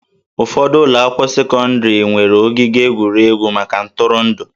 Ụfọdụ ụlọ akwụkwọ sekọndrị nwere ogige egwuregwu maka ntụrụndụ